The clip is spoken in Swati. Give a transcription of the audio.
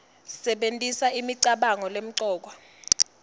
sebentisa imicabango lemcoka